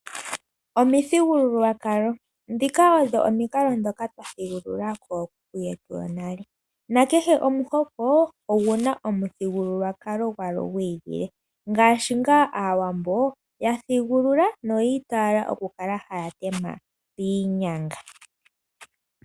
Omithugululwakalo odho omikalo ndhoka twa thigulula kookuku yetu yonale. Kehe omuhoko ogu na omuthigululwakalo gwago gwi ili , ngaashi ngaa Aawambo ya thigulula no ya itayela oku kala haya tema piinyanga.